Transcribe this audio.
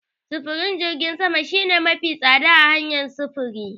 Sufurin jirgin sama shine mafi tsadar hanyar sufuri.